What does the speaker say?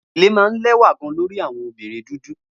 gele ni o wa maa gan lẹwa lori awọn obirin dudu